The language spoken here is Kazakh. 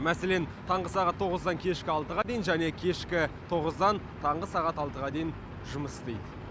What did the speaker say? мәселен таңғы сағат тоғыздан кешкі алтыға дейін және кешкі тоғыздан таңғы сағат алтыға дейін жұмыс істейді